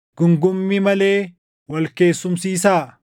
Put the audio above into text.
Guungummii malee wal keessumsiisaa.